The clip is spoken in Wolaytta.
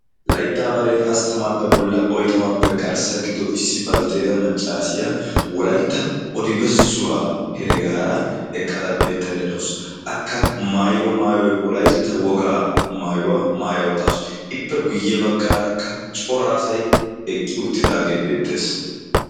Layttaa baree hasttamaappe bolla oitamappe garssa giddo issi baltteeta maccaasiya wolaitta odibessuwaa heregaara eqqada beettaidadausu akka mailo maayoi wolaytta wogaa maayuwaa maaya uttaasu. ippe guyye baggaarakka cora asay eqqi uttidaagee beettees.